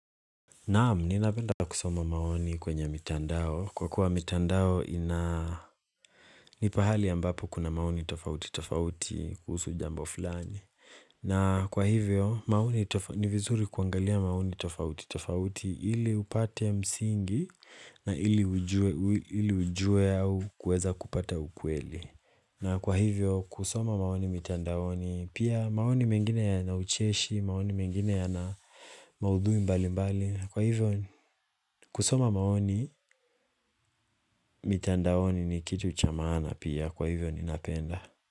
Naam, ninapenda pa kusoma maoni kwenye mitandao kwa kuwa mitandao ina ni pahali ambapo kuna maoni tofauti tofauti kuhusu jambo fulani na kwa hivyo ni vizuri kuangalia maoni tofauti tofauti ili upate msingi na ili ujue au kuweza kupata ukweli na kwa hivyo kusoma maoni mitandaoni pia maoni mengine yana ucheshi maoni mengine yana maudhui mbali mbali kwa hivyo kusoma maoni mitandaoni ni kitu cha maana pia kwa hivyo ninapenda.